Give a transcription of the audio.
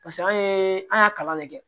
Paseke an ye an y'a kalan ne kɛ